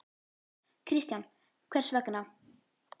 Kristján: Hvers vegna?